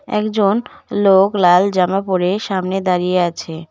একজন লোক লাল জামা পড়ে সামনে দাঁড়িয়ে আছে।